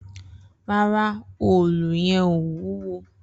Rara, òòlú yen ò wúwo